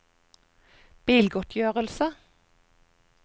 bilgodtgjørelse